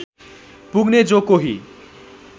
पुग्ने जो कोही